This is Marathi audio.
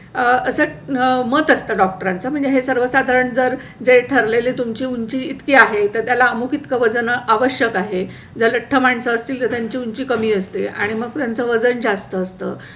अ असं मत असते. डॉक्टरांच्या म्हणजे हे सर्व साधारण जर. जे ठरलेले तुमची उंची इतकी आहे तर त्याला अमुखीत इतक वजन आवश्यक आहे. ज्या लठ्ठ माणसं असतील त्यांची उंची कमी असते आणि मग त्यांच वजन जास्त असतं